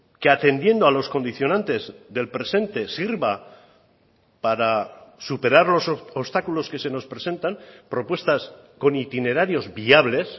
que atendiendo a los condicionantes del presente sirva para superar los obstáculos que se nos presentan propuestas con itinerarios viables